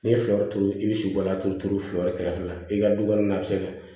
N'i ye sɔri turu i bɛ sukoro turu turu kɛrɛfɛ i ka dukɔnɔna a bɛ se ka